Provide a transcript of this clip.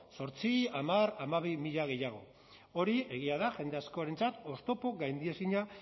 zortzi hamar hamabi mila gehiago hori egia da jende askorentzat oztopo gaindiezina